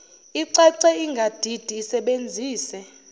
icace ingadidi isebenzise